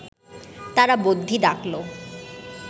তারা বদ্যি ডাকল